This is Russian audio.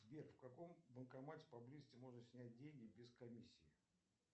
сбер в каком банкомате поблизости можно снять деньги без комиссии